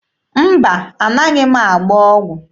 Mba, anaghị m agba ọgwụ.